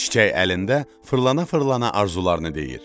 Çiçək əlində fırlana-fırlana arzularını deyir.